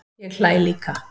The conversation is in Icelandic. Ég hlæ líka.